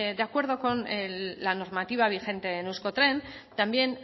de acuerdo con la normativa vigente en euskotren también